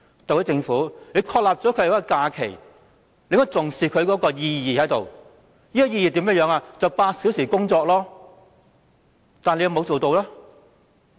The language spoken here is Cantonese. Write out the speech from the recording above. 特區政府訂立了五一勞動節假期，理應重視其意義，便是8小時工作，但有否做到呢？